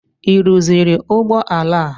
Ị rụziri ụgbọ ala a?